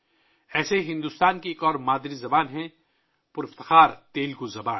اسی طرح، بھارت کی ایک اور مادری زبان ہے، شاندار تیلگو زبان